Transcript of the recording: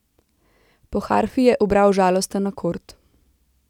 Po harfi je ubral žalosten akord.